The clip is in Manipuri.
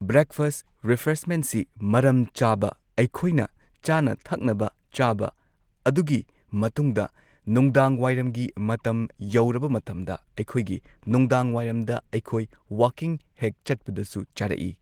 ꯕ꯭ꯔꯦꯛꯐꯥꯁ ꯔꯤꯐ꯭ꯔꯦꯁꯃꯦꯟꯠꯁꯤ ꯃꯔꯝ ꯆꯥꯕ ꯑꯩꯈꯣꯏꯅ ꯆꯥꯅ ꯊꯛꯅꯕ ꯆꯥꯕ ꯑꯗꯨꯒꯤ ꯃꯇꯨꯡꯗ ꯅꯨꯡꯗꯥꯡꯋꯥꯏꯔꯝꯒꯤ ꯃꯇꯝ ꯌꯧꯔꯕ ꯃꯇꯝꯗ ꯑꯩꯈꯣꯏꯒꯤ ꯅꯨꯡꯗꯥꯡꯋꯥꯏꯔꯝꯗ ꯑꯩꯈꯣꯏ ꯋꯥꯀꯤꯡ ꯍꯦꯛ ꯆꯠꯄꯗꯁꯨ ꯆꯥꯔꯛꯏ꯫